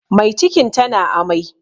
Mai cikin ta na amai